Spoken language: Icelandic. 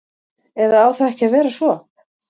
Eða á það ekki að vera svo?